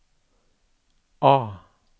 A